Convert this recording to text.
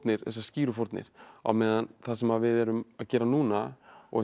þessar skýru fórnir á meðan það sem við erum að gera núna og